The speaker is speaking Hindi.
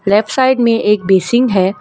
लेफ्ट साइड में एक बेसिंग है।